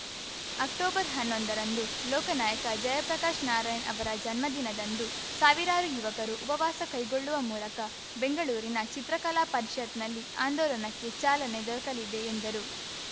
ಅಕ್ಟೊಬರ್ಹನ್ನೊಂದರಂದು ಲೋಕನಾಯಕ ಜಯಪ್ರಕಾಶ್ ನಾರಾಯಣ್‌ ಅವರ ಜನ್ಮದಿನದಂದು ಸಾವಿರಾರು ಯುವಕರು ಉಪವಾಸ ಕೈಗೊಳ್ಳುವ ಮೂಲಕ ಬೆಂಗಳೂರಿನ ಚಿತ್ರಕಲಾ ಪರಿಷತ್‌ನಲ್ಲಿ ಆಂದೋಲನಕ್ಕೆ ಚಾಲನೆ ದೊರಕಲಿದೆ ಎಂದರು